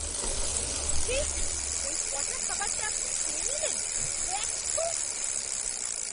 ছিঃ! ওই পচা খাবারটা আপনি খেয়ে নিলেন, ওয়াক থুঃ!